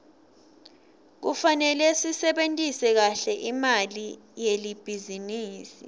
kufanele sisebentise kahle imali yelibhizinisi